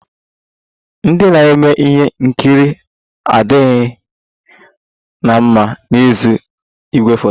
Ndị na-eme ihe nkiri adịghị na mma n'azụ igwefoto